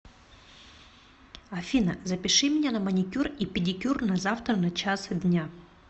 афина запиши меня на маникюр и педикюр на завтра на час дня